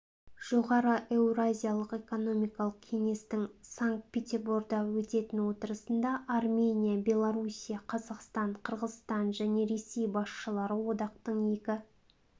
жоғары еуразиялық экономикалық кеңестің санкт-петерборда өтетін отырысында армения белоруссия қазақстан қырғызстан және ресей басшылары одақтың екі